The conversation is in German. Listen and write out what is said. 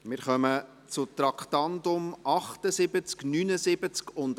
Wir kommen zu den Traktanden 78, 79 und 80.